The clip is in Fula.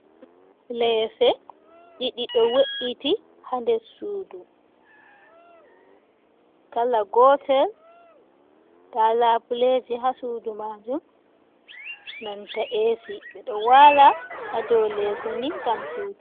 Leese ɗiɗi ɗo we’iti haa nde suudu, kala gootel, ndaa laabuleeji haa suudu maajum, nanta eesi, ɓe ɗo waala haa dow leese ni, ngam siwtugo.